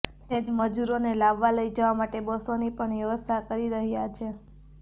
સાથે જ મજૂરોને લાવવા લઈ જવા માટે બસોની પણ વ્યવસ્થા કરી રહ્યા છે